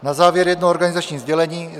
Na závěr jedno organizační sdělení.